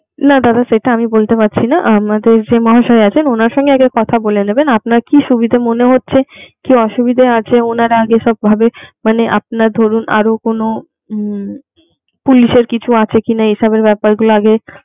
না দাদা সেটা আমি বলতে পারছি না আমাদের যে মহাশয় আছেন ওনার সাথে আগে কথা বলে নেবেন, আপনার কি সুবিধা মনে হচ্ছে কি অসুবিধা আছে ওনারা আগে সব ভাবে মানে আপনার ধরুন আরো কোনো উম পুলিশের কিছু আছে কিনা এই সবের ব্যাপারগুলো আগে